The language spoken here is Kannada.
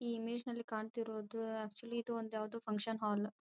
ಈ ಇಮೇಜ್ ನಲ್ಲಿ ಕಾಣ್ತಿರೋದು ಅಕ್ಚುಲಿ ಇದು ಯಾವುದೊ ಒಂದು ಫಂಕ್ಷನ್ ಹಾಲ್ .